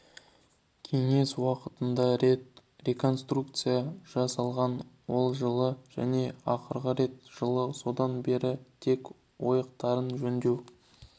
кеңес уақытында рет реконструкция жасалған ол жылы және ақырғы рет жылы содан бері тек ойықтарын жөндеу